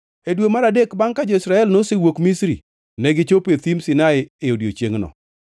E dwe mar adek bangʼ ka jo-Israel nosewuok Misri, negichopo e thim Sinai e odiechiengʼno.